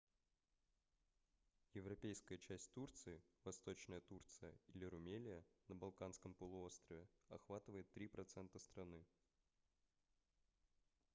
европейская часть турции восточная турция или румелия на балканском полуострове охватывает 3% страны